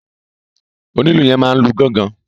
Onílù yẹn máa n lu gángan.